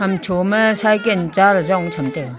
amcho ma cycle chaley jong cham taiga.